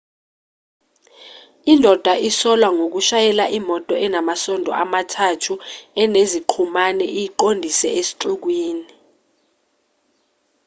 indoda isolwa ngoshayela imoto enamasondo amathathu eneziqhumane iyiqondise esixukwini